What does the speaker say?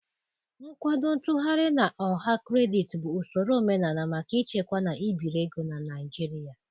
Nkwado ntughari na ọha kredit bụ usoro omenala maka ịchekwa na ibiri ego na Naịjirịa